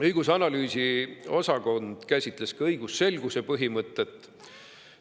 Õigus‑ ja analüüsiosakond käsitles ka õigusselguse põhimõtet.